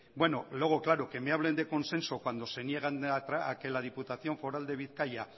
luego que me hablen de consenso cuando se niegan a que la diputación foral de bizkaia